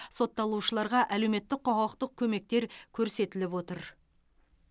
сотталушыларға әлеуметтік құқықтық көмектер көрсетіліп отыр